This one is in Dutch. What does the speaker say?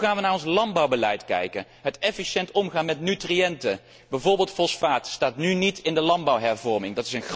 Hoe gaan we naar ons landbouwbeleid kijken? Het efficiënt omgaan met nutriënten, bijvoorbeeld fosfaat, staat nu niet in de landbouwhervorming.